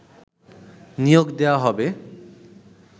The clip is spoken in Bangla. নিয়োগ দেয়া হবে